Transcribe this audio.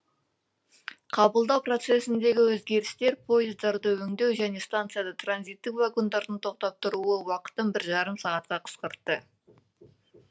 қабылдау процесіндегі өзгерістер пойыздарды өңдеу және станцияда транзиттік вагондардың тоқтап тұруы уақытын бір жарым сағатқа қысқартты